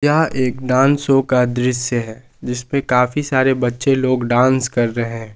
यह एक dance show का दृश्य है जिसपे काफी सारे बच्चे लोग डांस कर रहे--